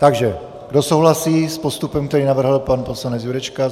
Takže kdo souhlasí s postupem, který navrhl pan poslanec Jurečka?